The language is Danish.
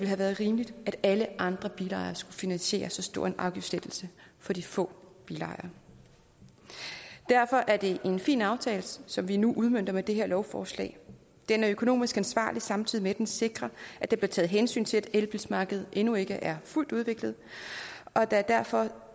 have været rimeligt at alle andre bilejere skulle finansiere så stor en afgiftslettelse for de få bilejere derfor er det en fin aftale som vi nu udmønter med det her lovforslag den er økonomisk ansvarlig samtidig med at den sikrer at der bliver taget hensyn til at elbilmarkedet endnu ikke er fuldt udviklet og det er derfor